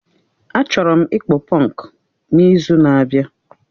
A chọrọ ịkpụ punku n'izu na-abịa